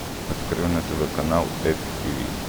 открой на тв канал эко тиви